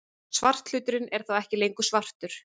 Svarthluturinn er þá ekki lengur svartur!